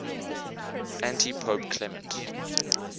antipope clement